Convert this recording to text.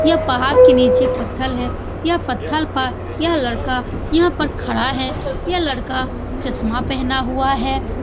यह पहाड़ के नीचे पत्थल है यह पत्थल प यह लड़का यहाँ पर खड़ा है यह लड़का चश्मा पहना हुआ है।